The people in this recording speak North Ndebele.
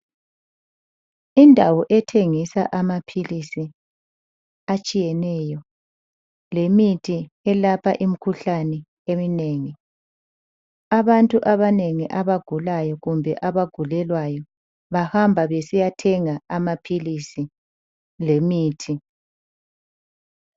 Indawo ethengisa amaphilisi atshiyeneyo lemithi elapha imikhuhlane eminengi. Abantu abanengi abagulayo kumbe abagulelwayo bahamba besiyathenga amaphilisi lemithi.